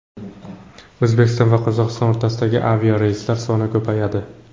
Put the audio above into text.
O‘zbekiston va Qozog‘iston o‘rtasidagi aviareyslar soni ko‘payadi.